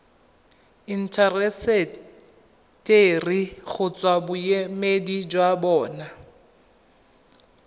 intaseteri kgotsa boemedi jwa bona